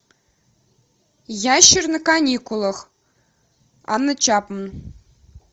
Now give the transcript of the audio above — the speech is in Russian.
ящер на каникулах анна чапман